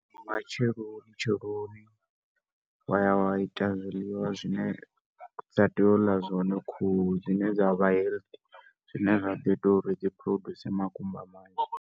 Nga matsheloni tsheloni wa ya wa ita zwiḽiwa zwine dza tea u ḽa zwone khuhu zwine zwa vha healthy zwine zwa ḓo ita uri dzi produce makumba manzhi.